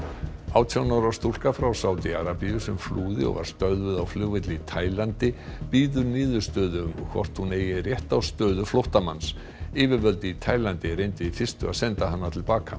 átján ára stúlka frá Sádi Arabíu sem flúði og var stöðvuð á flugvelli í Taílandi bíður niðurstöðu um hvort hún eigi rétt á stöðu flóttamanns yfirvöld í Taílandi reyndu í fyrstu að senda hana til baka